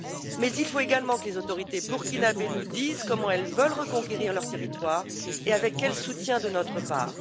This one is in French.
Mais il faut également que les autorités burkinabées nous disent comment elles veulent reconquérir leur territoire et avec quel soutien de notre part.